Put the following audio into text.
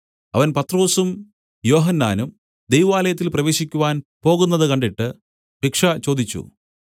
അവൻ പത്രൊസും യോഹന്നാനും ദൈവാലയത്തിൽ പ്രവേശിക്കുവാൻ പോകുന്നത് കണ്ടിട്ട് ഭിക്ഷ ചോദിച്ചു